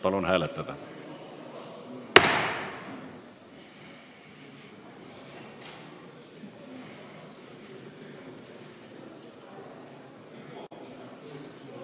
Palun hääletada!